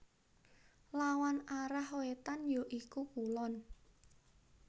Lawan arah wétan ya iku kulon